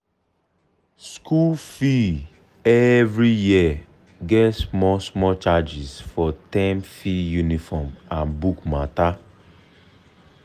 school fee every year get small small charges for term fee uniform and book matter.